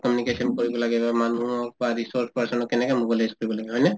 communication কৰিব লাগে বা মানুহক বা resource person ক কেনেকে mobilize কৰিব লাগে হয়নে ?